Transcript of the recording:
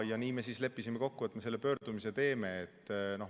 Ja nii me siis leppisime kokku, et me teeme selle pöördumise.